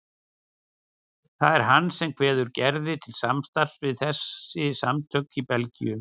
Það er hann sem kveður Gerði til samstarfs við þessi samtök í Belgíu.